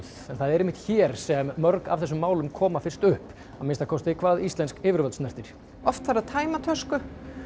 en það er einmitt hér sem mörg af þessum málum koma fyrst upp að minnsta kosti hvað íslensk yfirvöld snertir oft þarf að tæma tösku